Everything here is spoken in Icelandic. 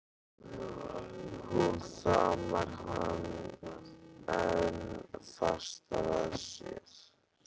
Hún faðmar hann enn fastar að sér.